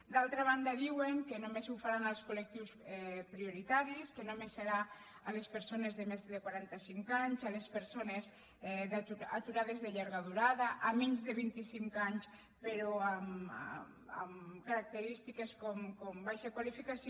d’altra banda diuen que només ho faran als colprioritaris que només serà a les persones de més de quaranta cinc anys a les persones aturades de llarga durada a menys de vint i cinc anys però amb característiques com baixa qualificació